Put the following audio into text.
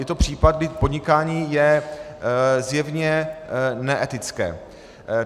Je to případ, kdy podnikání je zjevně neetické.